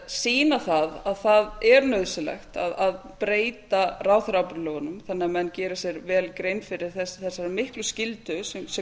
sýna það að það er nauðsynlegt að breyta ráðherraábyrgðarlögunum þannig að menn geri sér vel grein fyrir þessari miklu skyldu sem